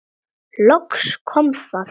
Loks kom það.